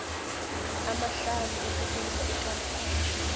amahlanu ukutlolisa ikampani